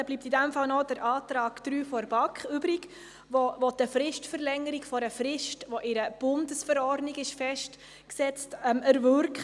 Somit bleibt noch der Antrag 3 der BaK übrig, der die Verlängerung einer Frist, die in der Bundesverordnung festgesetzt ist, erwirken möchte.